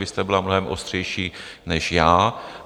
Vy jste byla mnohem ostřejší než já.